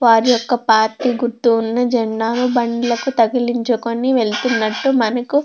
వాటి యొక్క వాటి గుర్తు ఉన్న జెండాను బండ్లకు తగిలించుకొని వెళ్తున్నట్టు--